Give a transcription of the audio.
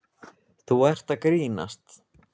Þú ert að grínast?